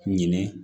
Ɲinɛ